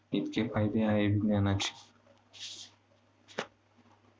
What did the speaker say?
इतके फायदे आहेत विज्ञानाचे.